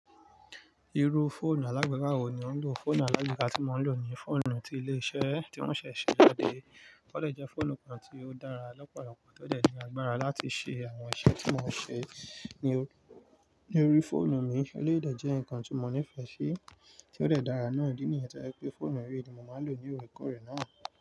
Irú fóònù alágbèéká wo ni ò ń lò? Fóònù alágbèéká tí mo ń lò ní fóònù tí ilé-iṣẹ́ tí wọ́n ṣẹ̀ ṣe jáde. Ó dè jẹ́ fóònù kan tí ó dára lọ́pọ̀lọpọ̀, tó dè ní agbára láti ṣe àwọn iṣẹ́ tí mo ń ṣe ní orí fóònù mi. Elé yí dẹ̀ jẹ́ ǹkan tí mo ní ìfẹ́ sí, tí ó dẹ̀ dára náà, ìdí nìyẹn tí o jẹ́ pé fóònù eré ni mo máa lò ní oòrè koòrè náà.